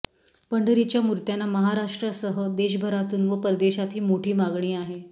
पंढरीच्या मुर्त्यांना महाराष्ट्रासह देशभरातून व परदेशात ही माठी मागणी आहे